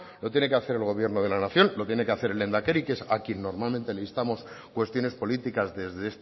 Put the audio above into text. lo tiene que hacer el gobierno de la nación lo tiene que hacer el lehendakari que es a quien normalmente le instamos cuestiones políticas desde